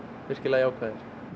virkilega jákvæðir